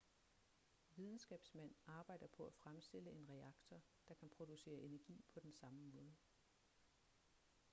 videnskabsmænd arbejder på at fremstille en reaktor der kan producere energi på den samme måde